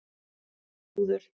Þrúður